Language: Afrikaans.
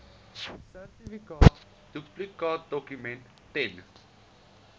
sertifikaat duplikaatdokument ten